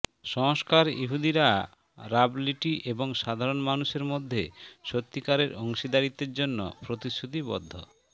সংস্কার ইহুদিরা রাবলিটি এবং সাধারণ মানুষের মধ্যে সত্যিকারের অংশীদারিত্বের জন্য প্রতিশ্রুতিবদ্ধ